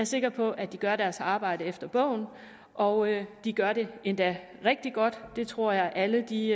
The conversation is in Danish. sikker på at de gør deres arbejde efter bogen og de gør det endda rigtig godt det tror jeg alle de